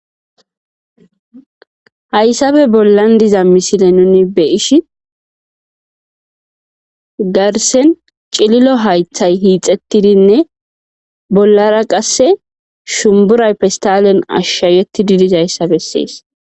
Hayssappe bollan diza misile nuun beyishin garssen cillillo hayththay hixettidinne bollara qase shumburay pestalen ashaqettidii dizayssa besses